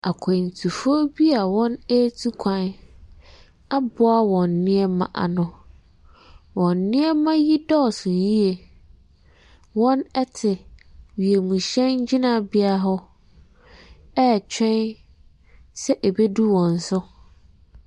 Akwantufoɔ bi a wɔretu kwan aboa wɔn nneɛma ano wɔn nneɛma yi dɔɔso yie. Wɔte wiemhyɛn gyinabea hɔ retwɛn sɛ ɛbɛduru wɔn so.